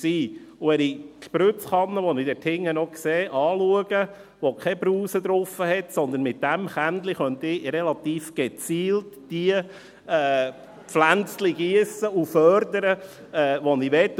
Wenn ich die Giesskanne, die ich dort hinten noch sehe, anschaue, die keine Brause draufhat, so könnte ich mit diesem Kännchen relativ gezielt diejenigen Pflänzchen giessen und fördern, die ich will.